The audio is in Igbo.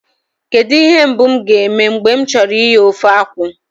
Kedụ ihe mbụ m ga-eme mgbe m chọrọ ighe ofe akwụ